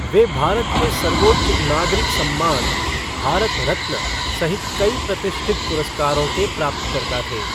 वह भारत के सर्वोच्च नागरिक सम्मान भारत रत्न सहित कई प्रतिष्ठित पुरस्कारों के प्राप्तकर्ता थे।